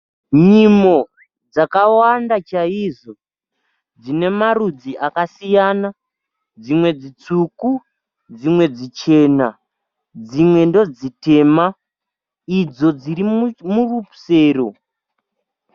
Nyimo dzakwanda chaizvo dzine marudzi akasiyana dzimwe dzi tsvuku dzimwe dzichena dzimwe ndodzi tema, idzo dziri murusero.